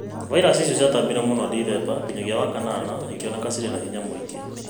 Vairasi icio ciatambire mũno kuuma ndithemba nginyagia wakan ana ikĩoneka cirĩ na hinya mũingĩ